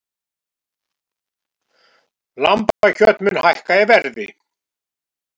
Lambakjöt mun hækka í verði